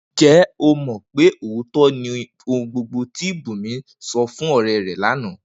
Ǹjé̩ o mò̩ pé òótó̩ ni gbogbo ohun tí Bùnmi so̩ fún ò̩ré̩ rè̩ lánàá?